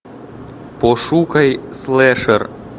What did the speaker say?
пошукай слэшер